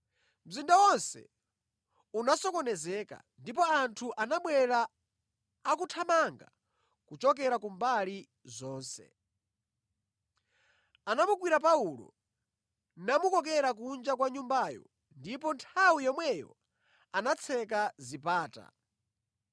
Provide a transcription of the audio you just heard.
Mzinda wonse unasokonezeka, ndipo anthu anabwera akuthamanga kuchokera kumbali zonse. Anamugwira Paulo, namukokera kunja kwa Nyumbayo, ndipo nthawi yomweyo anatseka zipata.